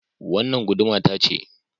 Wannan guduma ta ce